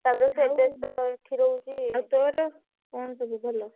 ତାପରେ ସେ ବ୍ୟସ୍ତ ରହୁଛି ।